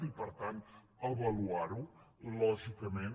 i per tant avaluar ho lògicament